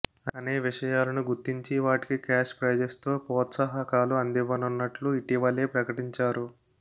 అనే విషయాలను గుర్తించి వాటికి క్యాష్ ప్రైజెస్తో ప్రోత్సాహకాలు అందివ్వనున్నట్లు ఇటీవలే ప్రకటించారు